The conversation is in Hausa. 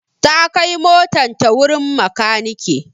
ta kai motan ta wurin makaniki